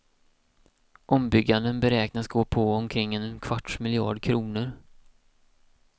Ombygganden beräknas gå på omkring en kvarts miljard kronor.